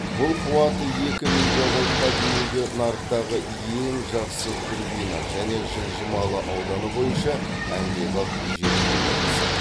бұл қуаты екі мегабайтқа дейінгі нарықтағы ең жақсы турбина және жылжымалы ауданы бойынша әмбебап жел қондырғысы